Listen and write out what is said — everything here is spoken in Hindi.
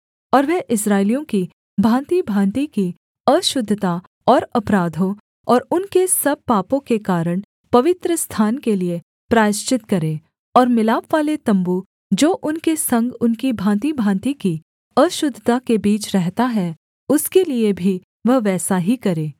और वह इस्राएलियों की भाँतिभाँति की अशुद्धता और अपराधों और उनके सब पापों के कारण पवित्रस्थान के लिये प्रायश्चित करे और मिलापवाले तम्बू जो उनके संग उनकी भाँतिभाँति की अशुद्धता के बीच रहता है उसके लिये भी वह वैसा ही करे